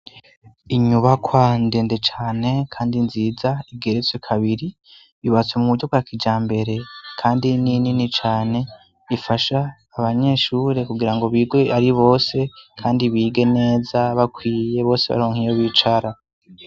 Inyubakwa ndende cane kandi nziza igeretse kabiri. Yubatswe mu buryo bwa kijambere kandi n'inini cane, ifasha abanyeshure kugira ngo bige ari bose kandi bige neza bakwiye bose baronkiyo bicara.